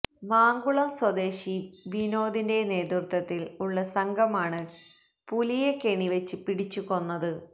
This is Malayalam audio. മാങ്കുളം സ്വദേശി വനോദിന്റെ നേതൃത്വത്തിൽ ഉള്ള സംഘമാണ് പുലിയെ കെണിവെച്ച് പിടിച്ച് കൊന്നത്